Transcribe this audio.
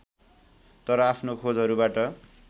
तर आफ्नो खोजहरूबाट